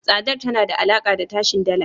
Tsadar tana da alaka da tashin Dala.